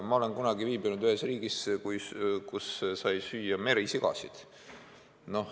Ma olen kunagi viibinud ühes riigis, kus sai süüa merisigasid.